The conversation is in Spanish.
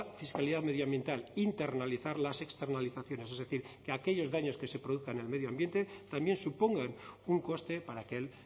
fiscalidad medioambiental internalizar las externalizaciones es decir que aquellos daños que se produzca en el medio ambiente también supongan un coste para aquel